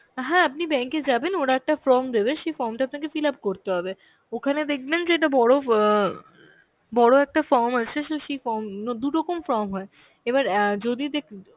হ্যাঁ আপনি bank এ যাবেন, ওরা একটা form দেবে সেই form টা তো আপনাকে fillup করতে হবে. ওখানে দেখবেন যে একটা বড় অ্যাঁ বড় একটা form আছে সেই form গুলো, দু রকম form হয়. এবার অ্যাঁ যদি দেক~